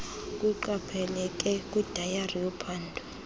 kuqapheleke kwidayari yophando